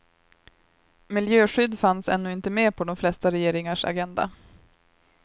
Miljöskydd fanns ännu inte med på de flesta regeringars agenda.